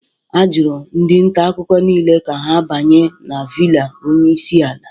Ajụrụ ndị nta akụkọ niile ka ha banye na villa onyeisiala